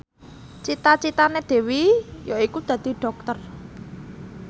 cita citane Dewi yaiku dadi dokter